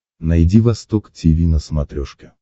найди восток тиви на смотрешке